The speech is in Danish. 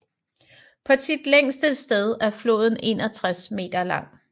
På sit længste sted er floden 61 meter lang